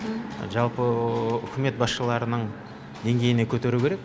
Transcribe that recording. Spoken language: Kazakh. жалпы үкімет басшыларының деңгейіне көтеру керек